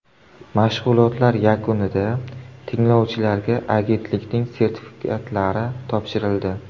Mashg‘ulotlar yakunida tinglovchilarga agentlikning sertifikatlari topshirildi.